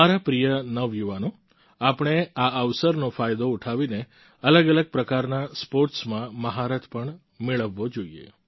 મારા પ્રિય નવયુવાનો આપણે આ અવસરનો ફાયદો ઉઠાવીને અલગઅલગ પ્રકારના સ્પોર્ટ્સમાં મહારથ પણ મેળવવો જોઈએ